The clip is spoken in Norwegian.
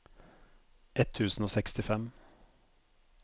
ett tusen og sekstifem